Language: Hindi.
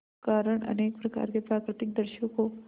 कारण अनेक प्रकार के प्राकृतिक दृश्यों को